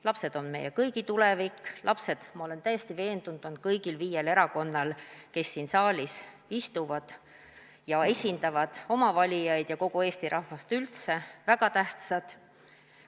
Lapsed on meie kõigi tulevik, lapsed – ma olen täiesti veendunud – on kõigile viiele erakonnale, kes siin saalis istuvad ja esindavad oma valijaid ja kogu Eesti rahvast üldse, väga tähtsad.